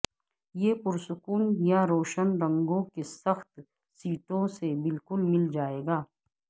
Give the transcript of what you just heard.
یہ پرسکون یا روشن رنگوں کے سخت سیٹوں سے بالکل مل جائے گا